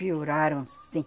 Pioraram, sim.